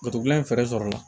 Batu gilan in fɛɛrɛ sɔrɔ la